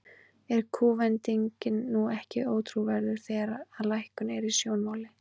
Er kúvendingin nú ekki ótrúverðug, þegar að lækkun er í sjónmáli?